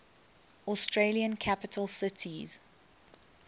australian capital cities